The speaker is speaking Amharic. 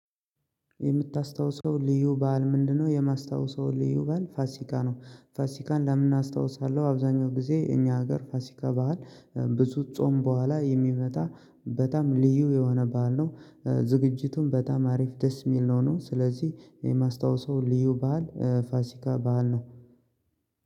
የምታስታውሰው ልዩ በዓል ምንድነው? የማስታውሰው ልዩ በዓል ፋሲካ ነው። ፋሲካን ለምን አስታውሳለሁ አብዛኛው ጊዜ እኛ ሀገር ፋሲከ ባህል ብዙ ጾም በኋላ የሚመጣ በጣም ልዩ የሆነ ባዓል ነው። ዝግጅቱን በጣም አሪፍ ደስ የሚል ነው ነው። ስለዚህ የማስታወሰው ልዩ ባህል ፋሲካ መሃል ነው።